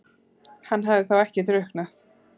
Hann hafði þá ekki drukknað?